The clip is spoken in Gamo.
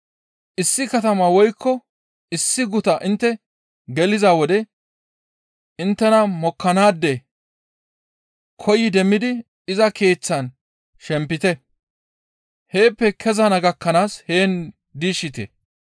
«Issi katama woykko issi guta intte geliza wode inttena mokkanaade koyi demmidi iza keeththan shempite; heeppe kezana gakkanaas heen diishshite.